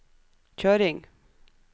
kjøring